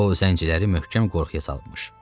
O zəncirləri möhkəm qorxuya salıbmış.